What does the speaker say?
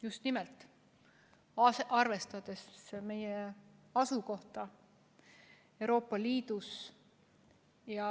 Just nimelt arvestades meie asukohta Euroopa Liidus.